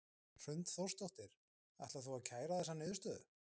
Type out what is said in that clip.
Hrund Þórsdóttir: Ætlar þú að kæra þessa niðurstöðu?